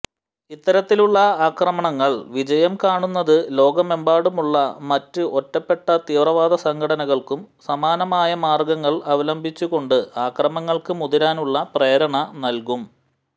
ഇത്തരത്തിലുള്ള ആക്രമണങ്ങൾ വിജയം കാണുന്നത് ലോകമെമ്പാടുമുള്ള മറ്റ് ഒറ്റപ്പെട്ട തീവ്രവാദസംഘടനകൾക്കും സമാനമായ മാർഗ്ഗങ്ങൾ അവലംബിച്ചുകൊണ്ട് ആക്രമണങ്ങൾക്ക് മുതിരാനുള്ള പ്രേരണ നൽകും